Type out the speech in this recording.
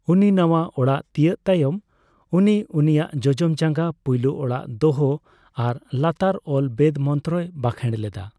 ᱩᱱᱤ ᱱᱟᱣᱟ ᱚᱲᱟᱜ ᱛᱤᱭᱟᱹᱜ ᱛᱟᱭᱚᱢ, ᱩᱱᱤ ᱩᱱᱤᱭᱟᱜ ᱡᱚᱡᱚᱢ ᱡᱟᱜᱟᱸ ᱯᱩᱭᱞᱩ ᱚᱲᱟᱜ ᱫᱚᱦᱚ ᱟᱨ ᱞᱟᱛᱟᱨ ᱚᱞ ᱵᱮᱫ ᱢᱚᱱᱛᱨᱚᱭ ᱵᱟᱸᱠᱷᱮᱲ ᱞᱮᱫᱟ ᱾